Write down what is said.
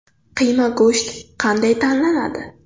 Qiyma go‘sht qanday tanlanadi?